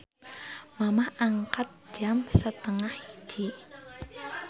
Mamah angkat jam 12.30